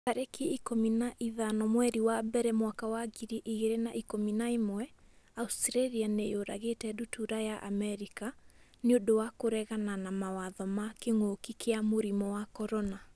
tarĩki ikũmi na ithano mweri wa mbere mwaka wa ngiri igĩrĩ na ikũmi na ĩmweAustralia nĩ yũragĩte ndutura ya Amerika 'nĩ ũndũ wa kũregana mawatho ma kĩngũki kia mũrimũ wa CORONA